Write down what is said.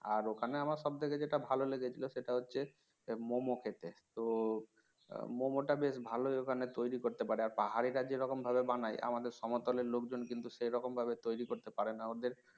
আর ওখানে আমার সব থেকে যেটা ভালো লেগেছিল সেটা হচ্ছে মোমো খেতে তো মোমোটা বেশ ভাল ওখানে তৈরি করতে পারে আর পাহাড়িরা যেরকম ভাবে বানায় আমাদের সমতলের লোকজন কিন্তু সে রকমভাবে তৈরি করতে পারে না ওদের